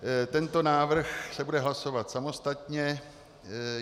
Tento návrh se bude hlasovat samostatně.